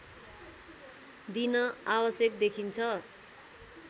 दिन आवश्यक देखिन्छ